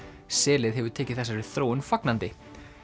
selið hefur tekið þessari þróun fagnandi